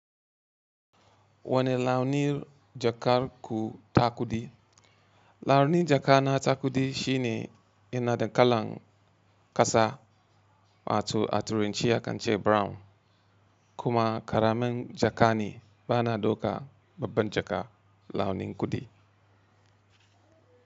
Wane launin jakar ku takudi? Launin jaka na takudi shine ina da kalan kasa, mato aturanci akan ce brown. Kuma ƙaramin jakane bana ɗauka babban jaka launin kudi.